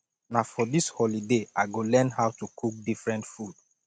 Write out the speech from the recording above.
na for dis holiday i go learn how to cook different food